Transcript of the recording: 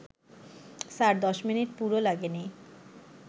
sir, ১০ minute পুরো লাগেনি